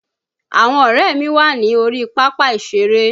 Àwọn ọ̀rẹ́ mi wà ní orí pápá ìṣeré